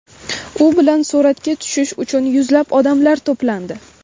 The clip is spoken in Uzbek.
U bilan suratga tushish uchun yuzlab odamlar to‘plandi.